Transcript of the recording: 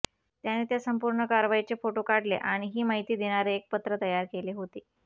त्याने त्या संपूर्ण कारवाईचे फोटो काढले आणि ही माहिती देणारे एक पत्र तयार केले होते